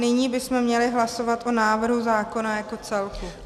Nyní bychom měli hlasovat o návrhu zákona jako celku.